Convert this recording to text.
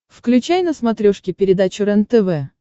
включай на смотрешке передачу рентв